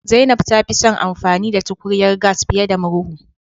Zainab ta fi son amfani da tukunyar gas fiye da murhu